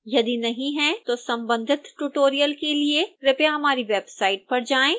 यदि नहीं हैं तो संबंधित ट्यूटोरियल के लिए कृपया हमारी वेबसाइट पर जाएं